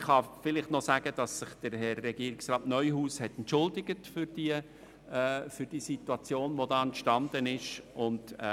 Ich kann noch sagen, dass sich Herr Regierungsrat Neuhaus für die dadurch entstandene Situation entschuldigt hat.